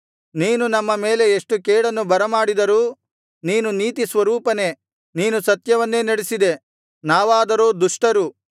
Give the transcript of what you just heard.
ನೀನು ನಮ್ಮ ಮೇಲೆ ಎಷ್ಟು ಕೇಡನ್ನು ಬರಮಾಡಿದರೂ ನೀನು ನೀತಿಸ್ವರೂಪನೇ ನೀನು ಸತ್ಯವನ್ನೇ ನಡಿಸಿದೆ ನಾವಾದರೋ ದುಷ್ಟರು